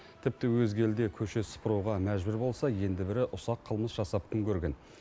тіпті өзге елде көше сыпыруға мәжбүр болса енді бірі ұсақ қылмыс жасап күн көрген